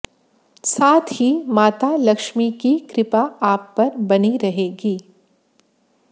साथ ही माता लक्ष्मी की कृपा आप पर बनी रहेगी